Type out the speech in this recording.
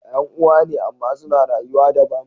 yan'uwa ne amma suna rayuwa dabam